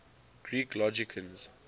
greek logicians